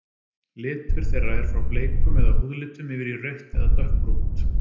Litur þeirra er frá bleikum eða húðlitum yfir í rautt eða dökkbrúnt.